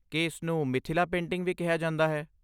ਕੀ ਇਸਨੂੰ ਮਿਥਿਲਾ ਪੇਂਟਿੰਗ ਵੀ ਕਿਹਾ ਜਾਂਦਾ ਹੈ?